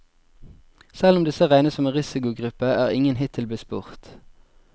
Selv om disse regnes som en risikogruppe, er ingen hittil blitt spurt.